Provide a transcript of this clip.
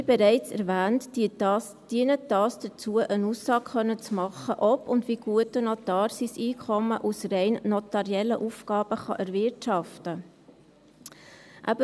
Wie bereits erwähnt, dient dies dazu, eine Aussage machen zu können, ob und wie gut der Notar sein Einkommen aus rein notariellen Aufgaben erwirtschaften kann.